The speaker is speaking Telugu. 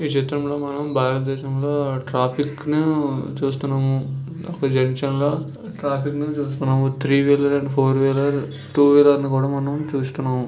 ఈ చిత్రంలో మనం భారతదేశంలో ట్రాఫిక్ ని చూస్తున్నము జంక్షన్--